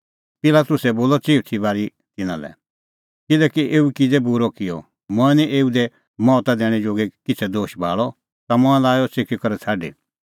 पिलातुसै बोलअ चिऊथी बारी तिन्नां लै किल्है एऊ किज़ै बूरअ काम किअ मंऐं निं एऊ दी मौता दैणैं जोगी किछ़ै दोश भाल़अ तै लाअ मंऐं अह च़िकी करै छ़ाडी